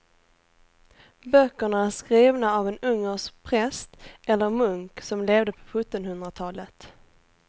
Böckerna är skrivna av en ungersk präst eller munk som levde på sjuttonhundratalet.